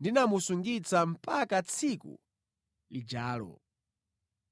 ndinamusungitsa mpaka tsiku lijalo.